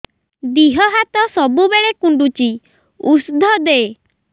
ଦିହ ହାତ ସବୁବେଳେ କୁଣ୍ଡୁଚି ଉଷ୍ଧ ଦେ